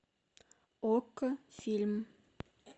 окко фильм